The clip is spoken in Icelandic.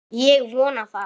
Ég vona það!